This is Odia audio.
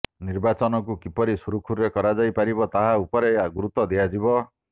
ନିର୍ବାଚନକୁ କିପରି ସୁରୁଖୁରୁରେ କରାଯାଇ ପାରିବ ତାହା ଉପରେ ଗୁରୁତ୍ୱ ଦିଆଯିବ